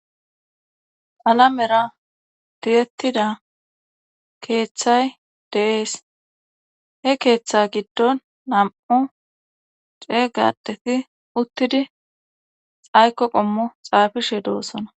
Alamera direttida keeththay deees he keeththe giddon nam'u cee gadeti uttidi xayko qommo xaafishe doosona.